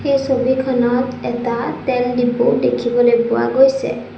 এই ছবিখনত এটা তেল ডিপু দেখিবলৈ পোৱা গৈছে।